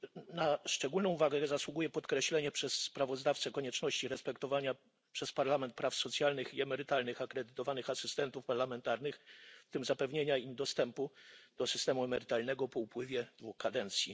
Na szczególną uwagę zasługuje podkreślenie przez sprawozdawcę konieczności respektowania przez Parlament praw socjalnych i emerytalnych akredytowanych asystentów parlamentarnych, w tym zapewnienia im dostępu do systemu emerytalnego po upływie dwóch kadencji.